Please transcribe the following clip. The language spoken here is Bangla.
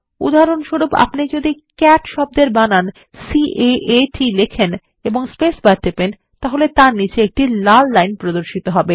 উদাহরণস্বরূপ আপনি যদি ক্যাট শব্দের বানান C A A T লেখেন এবং স্পেসবার টেপেন তাহলে তার নিচে একটি লাল লাইন প্রদর্শিত হবে